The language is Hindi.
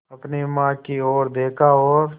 अपनी माँ की ओर देखा और